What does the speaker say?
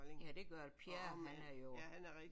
Ja det gør der Pierre han er jo